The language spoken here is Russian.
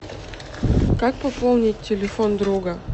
как пополнить телефон друга